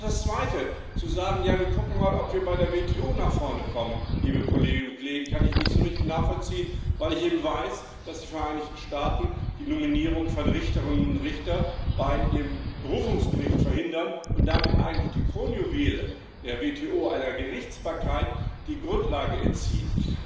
Und auch das Zweite zu sagen Ja wir gucken mal, ob wir bei der WTO nach vorne kommen, liebe Kolleginnen und Kollegen kann ich nicht so richtig nachvollziehen, weil ich eben weiß, dass die Vereinigten Staaten die Nominierung von Richterinnen und Richtern bei dem Berufungsgericht verhindern und damit eigentlich dem Kronjuwel der WTO, einer Gerichtsbarkeit, die Grundlage entziehen.